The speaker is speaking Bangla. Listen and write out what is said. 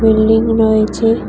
বিল্ডিং রয়েছে।